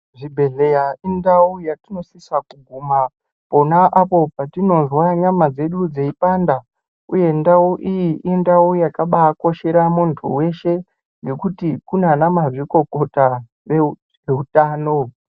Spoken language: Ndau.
Zvibhehlera indau yatinosisa kuguma pona apo patinozwa nyama dzedu dzeipanda uye ndau iyi indau yakabaakoshera muntu weshe ngekuti kunanamazvikokota veutano.